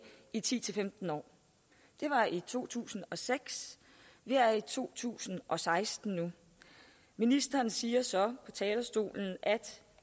i ti til femten år det var i to tusind og seks vi er i to tusind og seksten nu ministeren siger så på talerstolen at